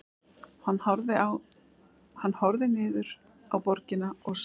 Hann horfði niður á borgina og sá